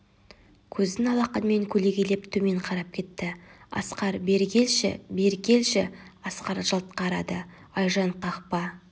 көзін алақанымен көлегейлеп төмен қарап кетті асқар бері келші бері келші асқар жалт қарады айжан қақпа